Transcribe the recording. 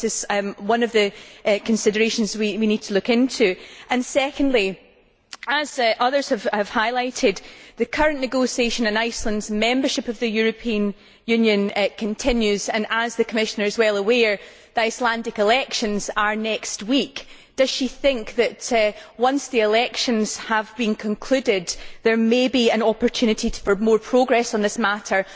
I think this is one of the considerations we need to look into. Secondly, as others have highlighted, the current negotiations on Iceland's membership of the European Union are continuing. As the Commissioner is well aware, the Icelandic elections are being held next week. Does she think that, once the elections have been concluded, there may be an opportunity to promote progress on this matter?